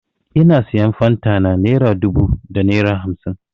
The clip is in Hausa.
Ina sayan fanta na naira dubu da naira hamsin.